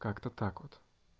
как-то так вот